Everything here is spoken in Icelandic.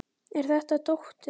Er þetta dóttir.